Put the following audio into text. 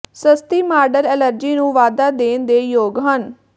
ਸਸਤੀ model allergy ਨੂੰ ਵਾਧਾ ਦੇਣ ਦੇ ਯੋਗ ਹਨ